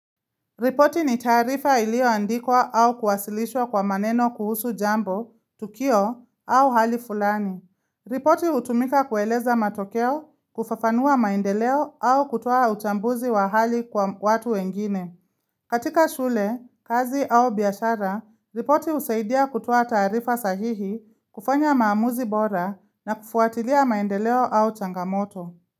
Ripoti ni tarifa ilio andikwa au kuwasilishwa kwa maneno kuhusu jambo, tukio au hali fulani. Ripoti hutumika kueleza matokeo, kufafanua maendeleo au kutoa utambuzi wa hali kwa watu wengine. Katika shule, kazi au biashara, ripoti husaidia kutoa taarifa sahihi, kufanya maamuzi bora na kufuatilia maendeleo au changamoto.